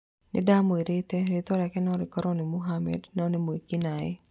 Nĩndamwĩrĩte: "Rĩtwa rĩake no rĩkorwo nĩ Mohammed no nĩ mwĩki-naĩ"